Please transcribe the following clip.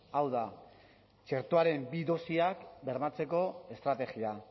hau da txertoaren bi dosiak bermatzeko estrategia